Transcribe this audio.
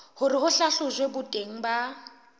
hore ho hlahlojwe boteng ba